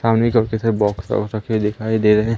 सामने छोटे बॉक्स हैं और सफेद दिखाई दे रहे हैं।